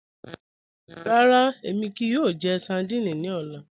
Ràrà, èmi kíí yòò jẹ̀ sárdínè ní ọlá.